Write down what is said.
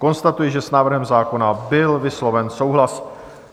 Konstatuji, že s návrhem zákona byl vysloven souhlas.